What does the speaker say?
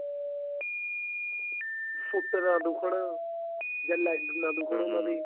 ਸੁੱਤੇ ਨਾ ਦੁੱਖਣ ਜਾਂ leg ਨਾ ਦੁੱਖਣ ਉਹਨਾ ਦੇ